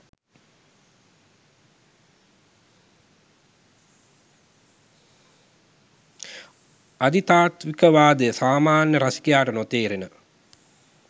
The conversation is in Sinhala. අධිතාත්වික වාදය සාමාන්‍ය රසිකයාට නොතේරෙන